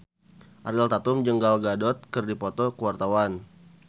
Ariel Tatum jeung Gal Gadot keur dipoto ku wartawan